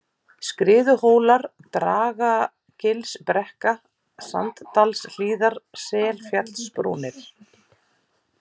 Skriðuhólar, Dragagilsbrekka, Sanddalshlíðar, Selfjallsbrúnir